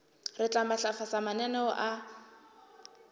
re tla matlafatsa mananeo a